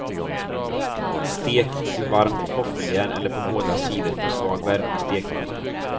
Stek i varmt våffeljärn eller på båda sidor på svag värme i stekpanna.